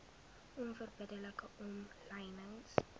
onverbidde like omlynings